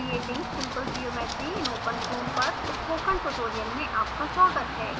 नमस्कार! creating simple geometry in openfoam पर spoken tutorial में आपका स्वागत है